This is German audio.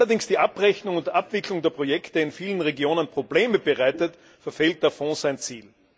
Wenn allerdings die Abrechnung und Abwicklung der Projekte in vielen Regionen Probleme bereitet, verfehlt der Fonds sein Ziel.